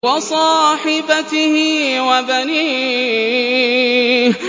وَصَاحِبَتِهِ وَبَنِيهِ